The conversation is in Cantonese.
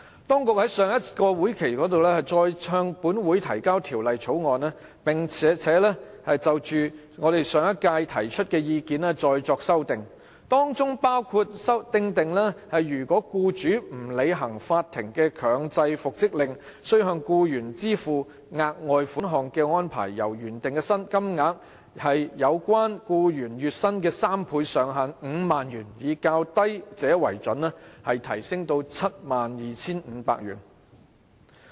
當局在上個立法會會期再度提交《條例草案》，並就我們在上屆立法會提出的意見作出修訂，包括訂定若僱主不履行法庭的強制復職令，須向僱員支付額外款項的安排，由原定"有關僱員月薪的3倍，上限為5萬元，以較低者為準"，提升至 72,500 元。